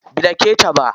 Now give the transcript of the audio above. Bai dake ta ba.